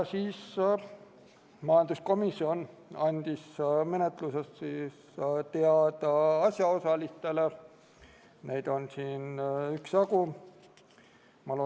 Majanduskomisjon andis menetlusest asjaosalistele, keda on üksjagu, teada.